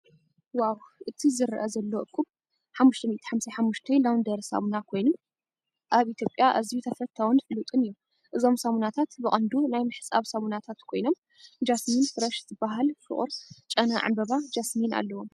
ዋው! እቲ ዝርአ ዘሎ እኩብ **555 ላውንድሪ ሳሙና** ኮይኑ፡ ኣብ ኢትዮጵያ ኣዝዩ ተፈታዊን ፍሉጥን እዩ። እዞም ሳሙናታት ብቐንዱ ናይ ምሕጻብ ሳሙናታት ኮይኖም (ጃስሚን ፍረሽ) ዝበሃል ፍቑር ጨና ዕምባባ ጃስሚን ኣለዎም።